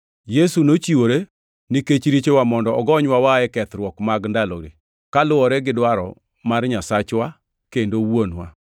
Yesu nochiwore nikech richowa mondo ogonywa waa e kethruok mag ndalogi, kaluwore gi dwaro mar Nyasachwa kendo Wuonwa.